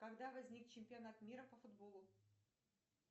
когда возник чемпионат мира по футболу